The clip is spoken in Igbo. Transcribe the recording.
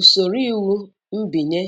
Usoro iwu mbinye